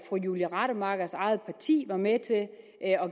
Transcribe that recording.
julie rademachers eget parti var med til at